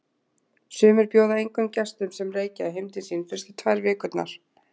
Sumir bjóða engum gestum, sem reykja, heim til sín fyrstu tvær vikurnar.